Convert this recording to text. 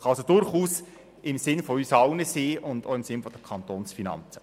Das kann also durchaus im Sinne von uns allen sein und auch im Sinne der Kantonsfinanzen.